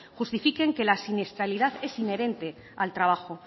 justifiquen que la siniestralidad es inherente al trabajo